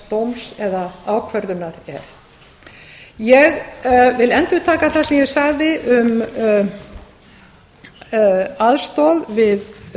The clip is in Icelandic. dóms eða ákvörðunar eru ég vil endurtaka það sem ég sagði um aðstoð við